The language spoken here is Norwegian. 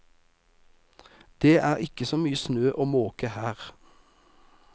Det er ikke så mye snø å måke her.